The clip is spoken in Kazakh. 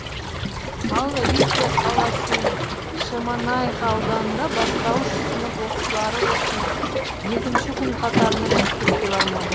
ал риддер қаласы мен шемонайха ауданында бастауыш сынып оқушылары осымен екінші күн қатарынан мектепке бармады